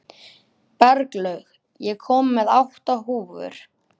Berglaug, ég kom með átta húfur!